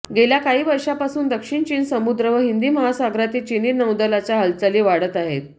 गेल्या काही वर्षांपासून दक्षिण चीन समुद्र व हिंदी महासागरातील चिनी नौदलाचा हालचाली वाढत आहेत